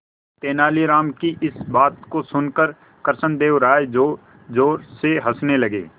तेनालीराम की इस बात को सुनकर कृष्णदेव राय जोरजोर से हंसने लगे